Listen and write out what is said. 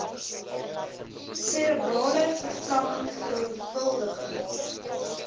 serebrale verlamming veelvuldige